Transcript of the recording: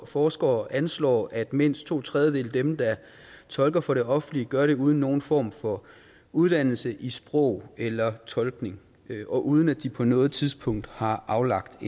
forskere anslår at mindst to tredjedele af dem der tolker for det offentlige gør det uden nogen form for uddannelse i sprog eller tolkning og uden at de på noget tidspunkt har aflagt